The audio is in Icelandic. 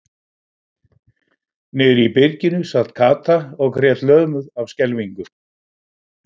Niðri í byrginu sat Kata og grét lömuð af skelfingu.